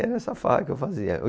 Era essa fala que eu fazia.